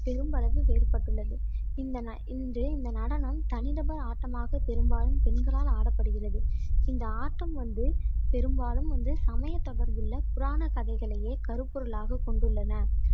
பெருமளவு வேறுபட்டுள்ளது இந்த இன்று இந்த நடனம் தனிநபர் ஆட்டமாகப் பெரும்பாலும் பெண்களால் ஆடப்படுகிறது இந்த ஆட்டம் வந்து பெரும்பாலும் வந்து சமயத்தொடர்புள்ள புராணக் கதைகளையே கருப்பொருளாகக் கொண்டுள்ளன.